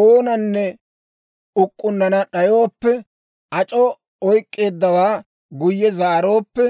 oonanne uk'k'unnana d'ayooppe, ac'oo oyk'k'eeddawaa guyye zaarooppe,